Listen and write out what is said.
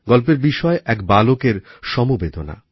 গল্পের বিষয় এক বালকের সমবেদনা